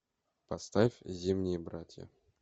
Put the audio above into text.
поставь зимние братья